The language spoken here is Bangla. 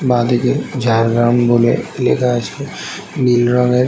বা দিকে ঝাড়গ্রাম বলে লেখা আছে নীল রঙের --